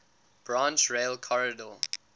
branch rail corridor